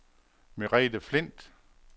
Merete Flindt